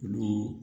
Olu